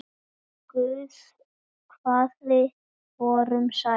Guð hvað þið voruð sæt!